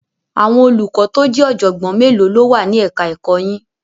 Àwọn olùkọ́ tó jẹ́ ọ̀jọ̀gbọ́n mélòó ló wà ní ẹ̀ka ẹ̀kọ́ yín?